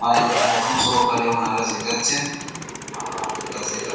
মানে খুব যত্ন সহকারে ওনারা শেখাচ্ছেন এবং খুব ভালো হাতের কাজ শেখান।